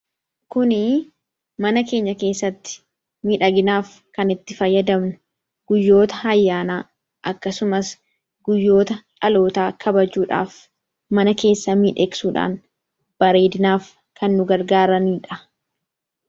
Kun mana keenya keessatti miidhaginaaf kan itti fayyadamnudha. Guyyoota ayyaanaa, akkasumas guyyoota dhalootaa kabajuudhaaf mana keessa miidhagsuudhaan bareedinaaf kan nu gargaaranidha.